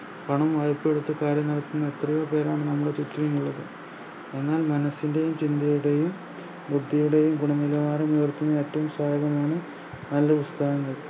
പണം വായ്പ്പയെടുത്ത് കാര്യം നടത്തുന്ന എത്രയോ പേരാണ് നമ്മുടെ ചുറ്റിലുമുള്ളത് എന്നാൽ മനസ്സിൻറെയും ചിന്തയുടെയും വ്യെക്തിയുടെയും ഗുണനിലവാരമുയർത്തുന്ന ഏറ്റോം മാണ് നല്ല പുസ്തകങ്ങൾ